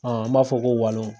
Ɔn an b'a fɔ ko walon